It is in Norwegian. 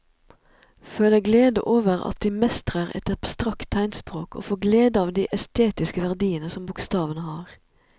Føle glede over at de mestrer et abstrakt tegnspråk og få glede av de estetiske verdiene som bokstavene har.